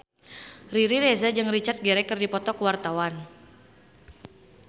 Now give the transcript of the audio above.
Riri Reza jeung Richard Gere keur dipoto ku wartawan